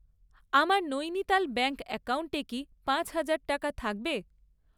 আমার নৈনিতাল ব্যাঙ্ক অ্যাকাউন্টে কি পাঁচ হাজার টাকা থাকবে?